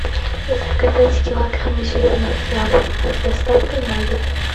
заказать килограмм зеленых яблок с доставкой на дом